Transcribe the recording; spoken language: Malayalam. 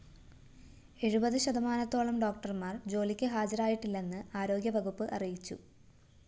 എഴുപത് ശതമാനത്തോളം ഡോക്ടര്‍മാര്‍ ജോലിക്ക് ഹാജരായിട്ടില്ലെന്ന് ആരോഗ്യവകുപ്പ് അറിയിച്ചു